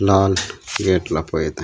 लाल gate ल पय ते।